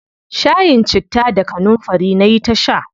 Shayin citta da kanunfari nayi ta sha.